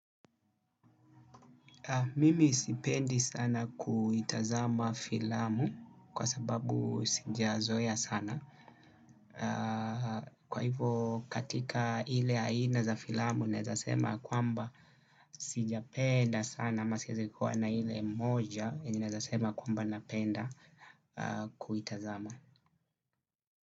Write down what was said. Mimi sipendi sana kuitazama filamu kwa sababu sija zoea sana. Kwa hivyo katika ile aina za filamu naezasema kwamba sijapenda sana ama siwezi kuwa na ile moja yenye naweza sema kwamba napenda kuitazama.